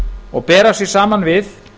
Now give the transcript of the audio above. og bera sig saman við